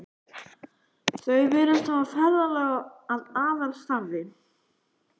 Þau virðast hafa ferðalög að aðalstarfi.